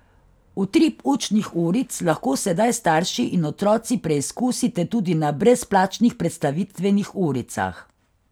Utrip učnih uric lahko sedaj starši in otroci preizkusite tudi na brezplačnih predstavitvenih uricah.